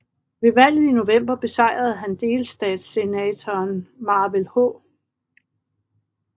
Ved valget i november besejrede han delstatssenatoren Manvel H